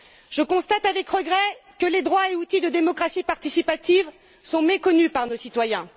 Je constate, avec regret, que les droits et outils de démocratie participative sont méconnus par nos citoyens.